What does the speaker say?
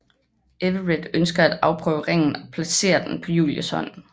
Everett ønsker at afprøve ringen og placerer den på Julies hånd